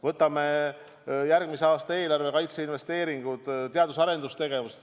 Võtame järgmise aasta eelarve kaitseinvesteeringud, teadus- ja arendustegevuse.